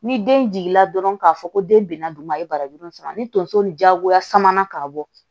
Ni den jigin na dɔrɔn k'a fɔ ko den bina dun a ye barajuru in sɔrɔ ni tonso ni jagoya samanan ka bɔ